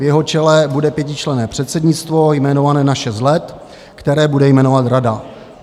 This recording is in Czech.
V jeho čele bude pětičlenné předsednictvo jmenované na šest let, které bude jmenovat rada.